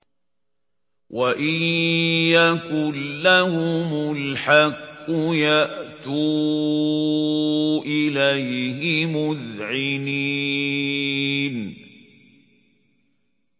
وَإِن يَكُن لَّهُمُ الْحَقُّ يَأْتُوا إِلَيْهِ مُذْعِنِينَ